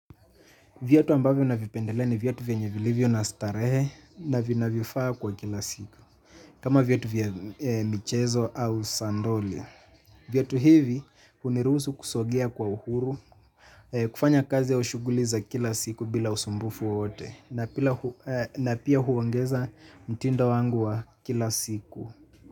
Viatu ambavyo na vipendelea ni viatu venyevilivyo na starehe na vina vifaa kwa kila siku. Kama viatu vya michezo au sandoli. Viatu hivi hunirusu kusogia kwa uhuru, kufanya kazi au shuguli za kila siku bila usumbufu wote. Na pia huongeza mtindo wangu wa kila siku.